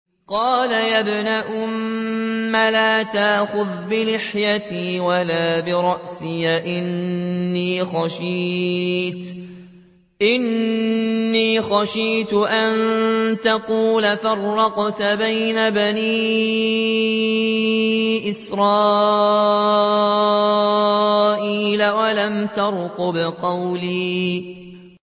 قَالَ يَا ابْنَ أُمَّ لَا تَأْخُذْ بِلِحْيَتِي وَلَا بِرَأْسِي ۖ إِنِّي خَشِيتُ أَن تَقُولَ فَرَّقْتَ بَيْنَ بَنِي إِسْرَائِيلَ وَلَمْ تَرْقُبْ قَوْلِي